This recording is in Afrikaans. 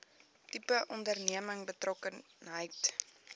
tipe onderneming betrokkenheid